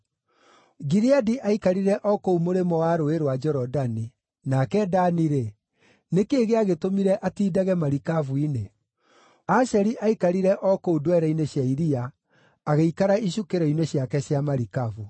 Gileadi aikarire o kũu mũrĩmo wa Rũũĩ rwa Jorodani. Nake Dani-rĩ, nĩ kĩĩ gĩagĩtũmire atiindage marikabu-inĩ? Asheri aikarire o kũu ndwere-inĩ cia iria, agĩikara icukĩro-inĩ ciake cia marikabu.